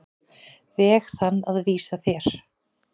veg þann að vísa þér.